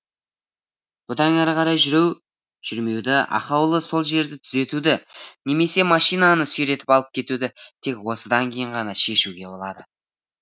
бұдан әрі қарай жүру жүрмеуді ақаулы сол жерде түзетуді немесе машинаны сүйретіп алып кетуді тек осыдан кейін ғана шешуге болады